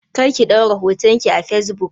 Kar ki ɗaura hoton ki a facebook!